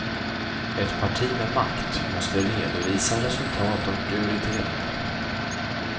Ett parti med makt måste redovisa resultat och prioriteringar.